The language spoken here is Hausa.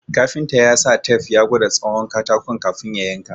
Kafinta ya sa tep ya gwada tsawon katakon ka fin ya yanka